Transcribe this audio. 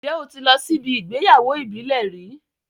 Ǹjẹ́ o ti lọ síbi ìgbéyàwó ìbílẹ̀ rí?